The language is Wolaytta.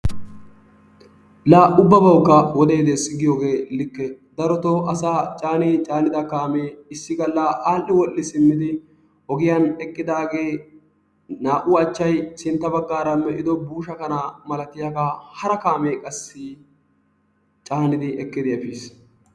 La ubbabawukka wodee des giyoogee likke. Darotoo asaa caanii caannida kaamee issi gaalla al"i wodhdhi simmidi ogiyaan eqqidaagee naa"u achchay sintta baggaara me"ido buushsha kanaa malatiyaagaa hara kaamee qassi caannidi ekkidi efiis.